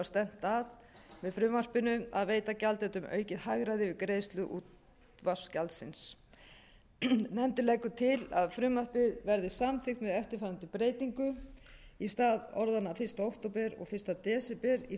stefnt að með frumvarpinu að veita gjaldendum aukið hagræði við greiðslu útvarpsgjalds nefndin leggur til að frumvarpið verði samþykkt með eftirfarandi breytingu í stað orðanna fyrsta október og fyrsta desember í fyrstu grein komi